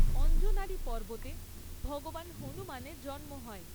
অঞ্জনারী পর্বতে ভগবান হনুমানের জন্ম হয়।